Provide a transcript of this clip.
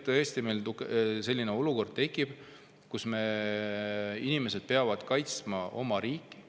Kui tõesti meil tekib olukord, kui vaenlane tuleb ja inimesed peavad kaitsma oma riiki,